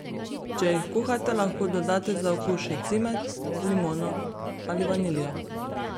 Če jih kuhate, lahko dodate za okus še cimet, limono ali vaniljo.